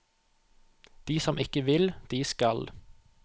De som ikke vil, de skal.